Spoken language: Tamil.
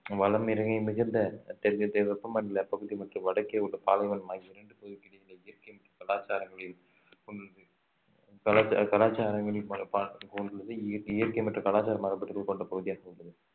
வலம் இறங்கி மிகுந்த தெற்கு தெ~ வெப்பமண்டல பகுதி மற்றும் வடக்கே உள்ள பாலைவனம் ஆகிய இரண்டு பகுதிகளுக்கு இடையிலே இயற்கை மற்றும் கலாச்சாரங்களில் கலாச்சா~ கலாச்சாரங்களில் இய~ இயற்கை மற்றும் கலாச்சார மாறுபாடுகள் கொண்ட பகுதியாக உள்ளது